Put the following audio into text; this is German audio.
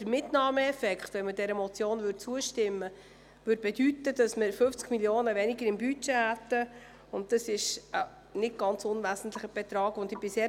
Der Mitnahmeeffekt bei Zustimmung zur Motion würde bedeuten, dass wir im Budget auf 50 Mio. Franken verzichten müssten.